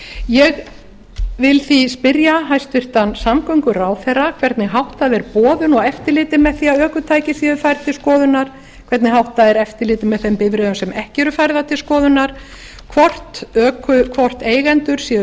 ég vil því spyrja hæstvirtan samgönguráðherra hvernig háttað er boðum og eftirliti með því að ökutæki séu færð til skoðunar hvernig háttað er eftirliti með þeim bifreiðum sem ekki eru færðar til skoðunar hvort eigendur séu